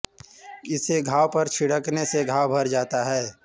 इसे घाव पर छिड़कने से घाव भर जाता है